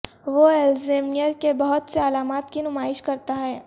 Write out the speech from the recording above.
وہ الزییمیر کے بہت سے علامات کی نمائش کرتا ہے